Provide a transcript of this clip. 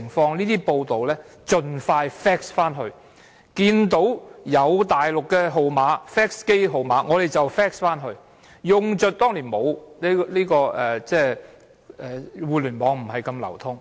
報道盡快 fax 去中國，看到有大陸的 fax 號碼，我們便 fax 去，因為當年互聯網不是這麼流通。